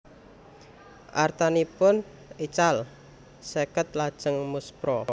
Artanipun ical seket lajeng muspra